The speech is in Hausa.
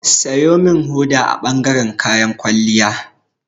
Siyo min hoda a bangaren kayan kwalliya.